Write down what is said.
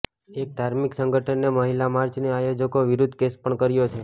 એક ધાર્મિક સંગઠને મહિલા માર્ચની આયોજકો વિરુદ્ધ કેસ પણ કર્યો છે